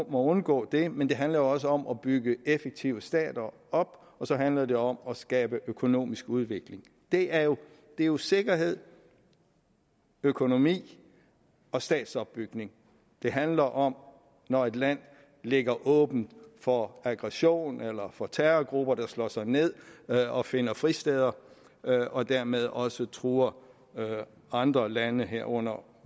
at undgå det men det handler også om at bygge effektive stater op og så handler det om at skabe økonomisk udvikling det er jo jo sikkerhed økonomi og statsopbygning det handler om når et land ligger åbent for aggression eller for terrorgrupper der slår sig ned og finder fristeder og dermed også truer andre lande herunder